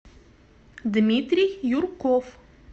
дмитрий юрков